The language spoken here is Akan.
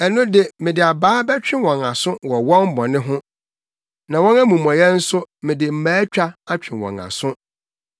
ɛno de mede abaa bɛtwe wɔn aso wɔ wɔn bɔne ho na wɔn amumɔyɛ nso mede mmaatwa atwe wɔn aso;